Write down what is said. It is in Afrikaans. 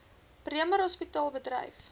bremer hospitaal bedryf